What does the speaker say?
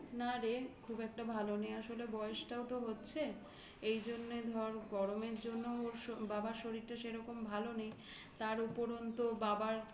না রে খুব একটা ভালো নেই. আসলে বয়সটাও তো হচ্ছে এই জন্যে ধর গরমের জন্য ওর বাবার শরীরটা সেরকম ভালো নেই তার উপরন্তু বাবার